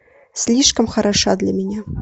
слишком хороша для меня